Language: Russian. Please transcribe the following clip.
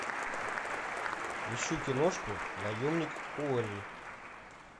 ищу киношку наемник куорри